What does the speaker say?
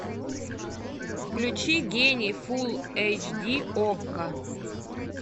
включи гений фулл эйч ди окко